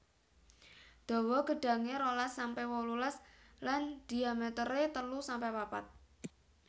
Dawa gedhange rolas sampe wolulas lan dhiamétéré telu sampe papat